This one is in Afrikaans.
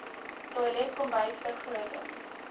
toilet kombuis vergroting